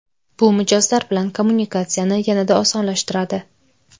Bu mijozlar bilan kommunikatsiyani yanada osonlashtiradi.